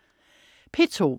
P2: